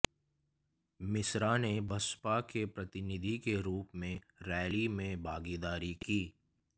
मिश्रा ने बसपा के प्रतिनिधि के रूप में रैली में भागीदारी की